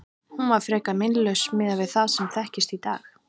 Hún var frekar meinlaus miðað við það sem þekkist í dag.